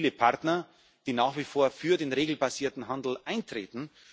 Wir haben also viele Partner, die nach wie vor für den regelbasierten Handel eintreten.